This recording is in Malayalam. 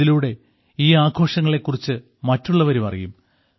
ഇതിലൂടെ ഈ ആഘോഷങ്ങളെ കുറിച്ച് മറ്റുള്ളവരും അറിയും